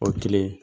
O ye kelen